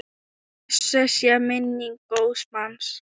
Blessuð sé minning góðs manns.